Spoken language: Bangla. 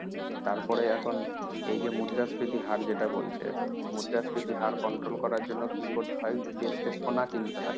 তারপরে এখন এই যে মুদ্রাস্ফীতির হার যেটা বলছি, মুদ্রাস্ফীতির হার control করার জন্য কি করতে হয়, দেশকে সোনা কিনতে হয়।